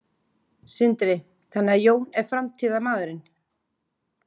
Sindri: Þannig að Jón er framtíðarmaðurinn?